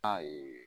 A ye